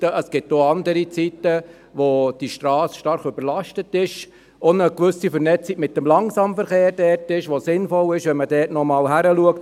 es gibt auch andere Zeiten, in denen die Strasse stark überlastet ist – auch eine gewisse Vernetzung mit dem Langsamverkehr da ist und es sinnvoll ist, wenn man dort nochmal hinschaut.